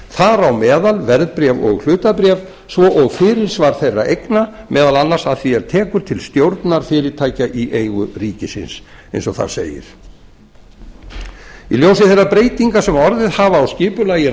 þar á meðal verðbréf og hlutabréf svo og fyrirsvar þeirra eigna vegna meðal annars að því er tekur til stjórnar fyrirtækja í eigu ríkisins eins og þar segir í ljósi þeirra breytinga sem orðið hafa á skipulagi